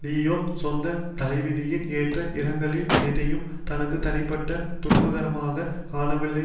Leo சொந்த தலைவிதியின் ஏற்ற இறக்கங்கள் எதையும் தனது தனிப்பட்ட துன்பகரமானதாக காணவில்லை